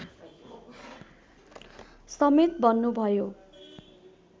समेत बन्नुभयो